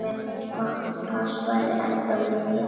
Máttur hans væri ennþá mikill.